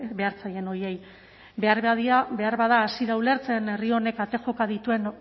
behar zaien horiei beharbada hasi da ulertzen herri honek ate joka dituen